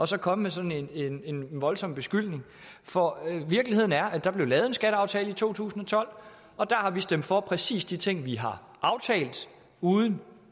så at komme med sådan en voldsom beskyldning for virkeligheden er at der blev lavet en skatteaftale i to tusind og tolv og der har vi stemt for præcis de ting vi har aftalt uden